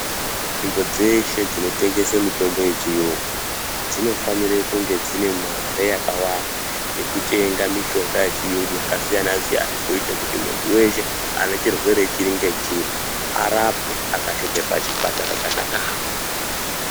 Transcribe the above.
Nzvimbo dzeshe dzinotengese mitombo yechiyungu dzinofanire kunge dzine mare yakawanda yekutenga mushonga yechiyungu yakasiyana siyana kuite kuti mundu weshe anechirwere chiri ngechiri arapwe akasvike pachipatara chakadaro.